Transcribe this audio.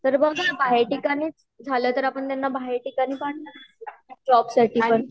तर बघा काही ठिकाणी झाला तर आपण त्यांना बाहेर ठिकाणी पाठवू जॉब साठी पण